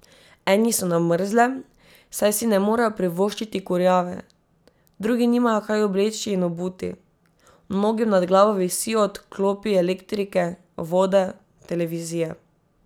Eni so na mrzlem, saj si ne morejo privoščiti kurjave, drugi nimajo kaj obleči in obuti, mnogim nad glavo visijo odklopi elektrike, vode, televizije...